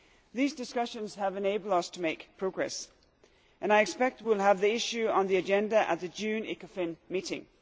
These discussions have enabled us to make progress, and I expect we will have the issue on the agenda at the June Ecofin meeting.